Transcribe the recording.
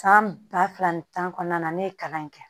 San ba fila ni tan kɔnɔna na ne ye kalan in kɛ